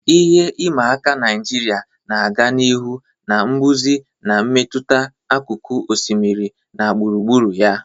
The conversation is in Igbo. Ihe ịma aka Naijiria na-aga n'ihu na mbuze na-emetụta akụkụ osimiri na gburugburu ya.